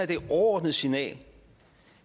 det overordnede signal